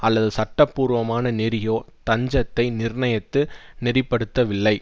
அல்லது சட்டபூர்வமான நெறியோ தஞ்சத்தை நிர்ணயித்து நெறிப்படுத்தவில்லை